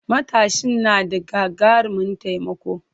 Matatsin na da gagarumin taimako.